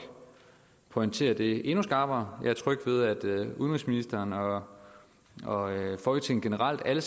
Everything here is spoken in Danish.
pointere det endnu skarpere jeg er tryg ved at udenrigsministeren og og folketinget generelt alle